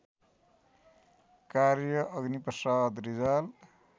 कार्य अग्निप्रसाद रिजाल